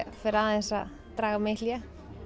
aðeins að draga mig í hlé